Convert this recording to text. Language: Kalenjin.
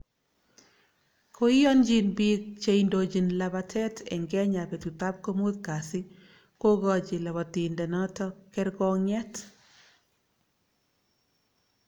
Koiyonchin biik che indochin labatet eng Kenya betutab komutkasi kogochi labatindenoto kergoong'et .